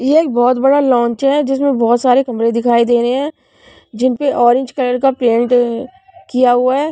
ये एक बहुत बड़ा लौंच है जिसमें बहुत सारे कमरे दिखाई दे रहे हैं जिनपे ऑरेंज कलर का पेंट किया हुआ है.